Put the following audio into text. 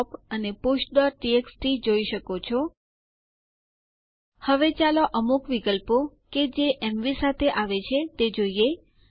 માત્ર user ID મેળવવા માટે આપણે ઉ વિકલ્પ ઉપયોગ માં લઈશું